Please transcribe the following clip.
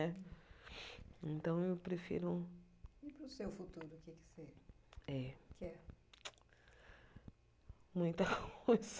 Então, eu prefiro... E para o seu futuro, o que você quer? Muita coisa